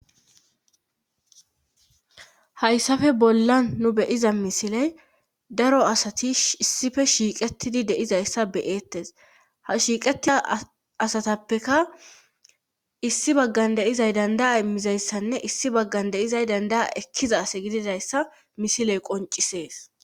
Hayssafe bollan nu beyiza misiley daro asati issife shiiqetidi deizayssa beyeettes ha shiiqatia asatappeka issi baggan deizay dandaya immizayssanne issi baggan deyizay dandaa ekkiza ase gididayssa misiley qoncisees